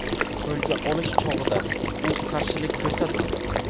Qo‘lga olish chog‘ida u qarshilik ko‘rsatmadi.